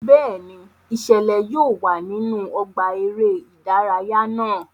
Bẹẹni, iṣẹlẹ yóò wá nínú ọgbà eré ìdárayá náà